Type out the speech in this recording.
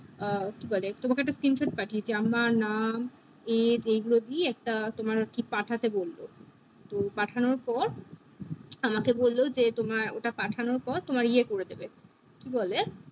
আহ কি বলে তোমাকে একটা screenshot পাঠিয়েছি আমার নাম age এই গুলো গুলো দিয়ে তোমার তোমার একটা পাঠাতে বলবো তো পাঠানোর পর আমাকে বললো যে তোমার ওটা পাঠানোর পর তোমার এ করে দেবে কি বলে